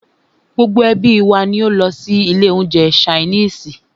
Gbogbo ẹ́bí wa ní o lọ sí ilé oúnjẹ ṣainiisi.